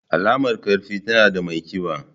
Alamar ƙarfi, tana ga mai ƙiba.